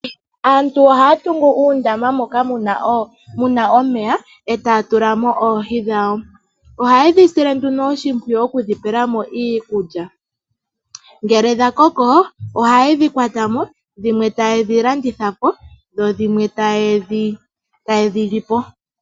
Aantu ohaya tungu uundama moka mu na omeya e taya tula mo oohi dhawo. Oha ye dhi sile nduno oshimpwiyu okudhi pela mo iikulya, ngele dha koko oha ye dhi kwata mo dhimwe taye dhi landitha po dho dhimwe taye dhi li po.